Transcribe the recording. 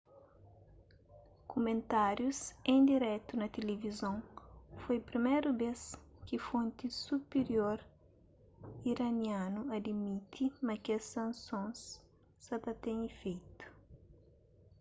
kumentárius en diretu na tilivizon foi priméru bês ki fonti supirior iranianu adimiti ma kes sansons sa ta ten ifeitu